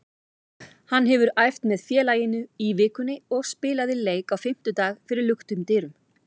Hann hefur æft með félaginu í vikunni og spilaði leik á fimmtudag fyrir luktum dyrum.